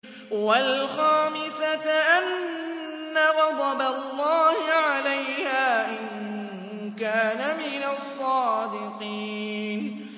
وَالْخَامِسَةَ أَنَّ غَضَبَ اللَّهِ عَلَيْهَا إِن كَانَ مِنَ الصَّادِقِينَ